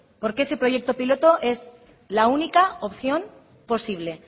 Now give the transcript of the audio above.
porque ese proyecto piloto es la única opción posible